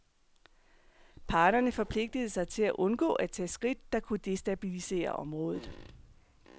Parterne forpligtede sig til at undgå at tage skridt, der kunne destabilisere området.